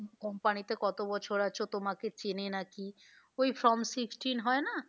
Company তে কত বছর আছো তোমাকে চেনে না কি ওই form sixty হয় না